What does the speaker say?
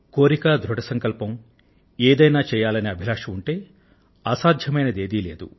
కోరిక ధృఢ సంకల్పం ఉంటే ఏదైనా చెయ్యాలనే అభిలాష ఉంటే అసాధ్యమైనది ఏదీ లేదు